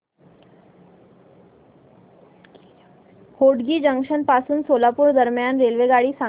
Hotgi junction पासून सोलापूर दरम्यान रेल्वेगाडी सांगा